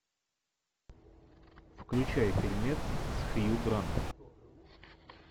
включай фильмец с хью грантом